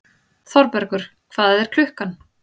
Þorbergur, hvað er klukkan?